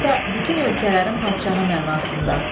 Burda bütün ölkələrin padşahı mənasında.